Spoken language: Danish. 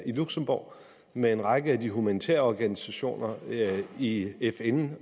i luxembourg med en række af de humanitære organisationer i fn